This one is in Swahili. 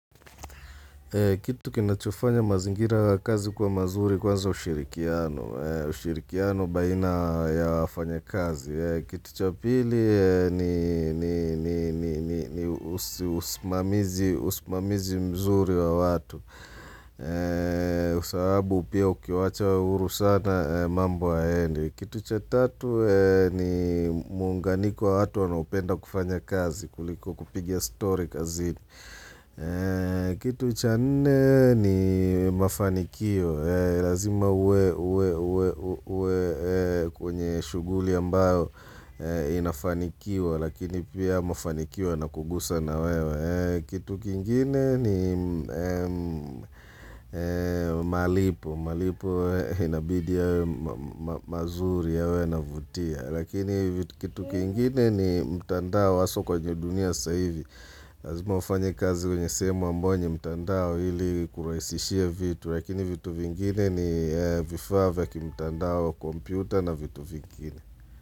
Kitu kinachofanya mazingira kazi kwa mazuri kwanza ushirikiano, ushirikiano baina ya wafanyakazi. Kitu cha pili ni usimamizi mzuri wa watu, sababu pia ukiwacha uhuru sana mambo hayaendi. Kitu cha tatu ni muunganiko wa watu wanaopenda kufanya kazi, kuliko kupigia story kazini. Kitu cha nne ni mafanikio Lazima uwe kwenye shughuli ambayo inafanikiwa Lakini pia mafanikio yanakugusa na wewe Kitu kingine ni malipo malipo inabidi yawe mazuri yawe yanavutia Lakini kitu kingine ni mtandao haswa kwenye dunia sasa hivi lazima ufanya kazi kwenye sehemu ambayo ni mtandao ili kuraisishia vitu Lakini vitu vingine ni vifaa vya ki mtandao kompyuta na vitu vingine.